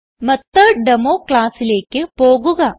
മെത്തോട്ടേമോ ക്ലാസ്സിലേക്ക് പോകുക